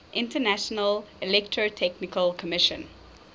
international electrotechnical commission